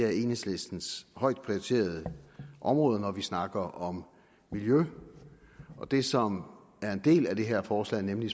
af enhedslistens højt prioriterede områder når vi snakker om miljø og det som er en del af det her forslag nemlig